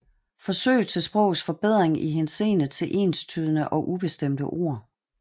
Forsøg til Sprogets Forbedring i Henseende til enstydige og ubestemte Ord